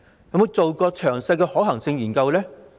有否進行詳細的可行性研究呢？